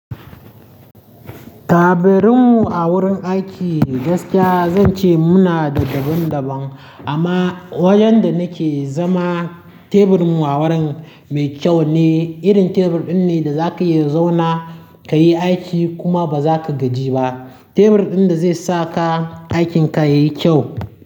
Taburin mu a wurin aiki gaskiya zan ce muna da daban-daban amma wajen da nake zama tebur mu a wurin mai kyau ne. Irin tebur ɗin ne da za ka iya zauna ka yi aiki kuma ba za ka gaji ba. Tebur ɗin da zai sa ka aikinka yayi kyau.